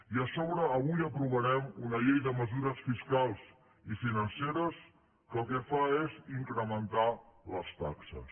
i a sobre avui aprovarem una llei de mesures fiscals i financeres que el que fa és incrementar les taxes